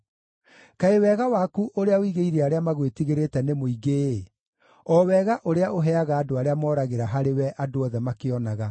Kaĩ wega waku ũrĩa ũigĩire arĩa magwĩtigĩrĩte, nĩ mũingĩ-ĩ, o wega ũrĩa ũheaga andũ arĩa moragĩra harĩwe andũ othe makĩonaga.